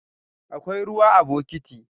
Akwai ruwa a bokiti.